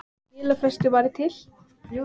Skilafrestur var til